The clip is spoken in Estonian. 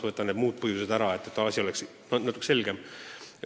Kõrvaldasime sõnad "muud tähtsust omavad asjaolud", et asi oleks selgem.